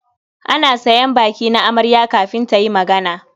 Ana sayan baki na amarya kafin ta yi magana.